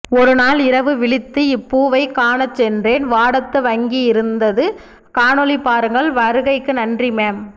ஒரு நாள் இரவு விழித்துஇப்பூவைக் காணச் சென்றேன் வாடத்துவங்கி இருந்தது காணொளி பாருங்கள் வருகைக்கு நன்றி மேம்